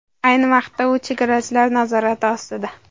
Ayni vaqtda u chegarachilar nazorati ostida.